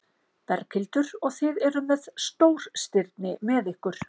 Berghildur: Og þið eruð með stórstirni með ykkur?